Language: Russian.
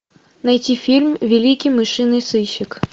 найти фильм великий мышиный сыщик